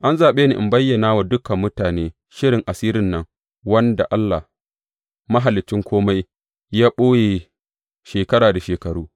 An zaɓe ni in bayyana wa dukan mutane shirin asirin nan wanda Allah, mahaliccin kome, ya ɓoye shekara da shekaru.